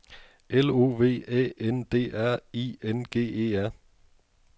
L O V Æ N D R I N G E R